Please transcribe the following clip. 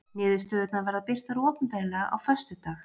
Niðurstöðurnar verða birtar opinberlega á föstudag